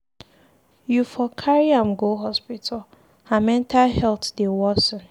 You for carry am go hospital, her mental health dey worsen